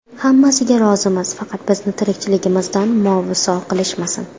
Hammasiga rozimiz, faqat bizni tirikchiligimizdan mosuvo qilishmasin”.